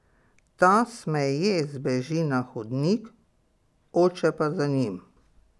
Ta smeje zbeži na hodnik, oče pa za njim.